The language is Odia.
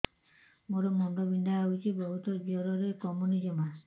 ମୋର ମୁଣ୍ଡ ବିନ୍ଧା ହଉଛି ବହୁତ ଜୋରରେ କମୁନି ଜମା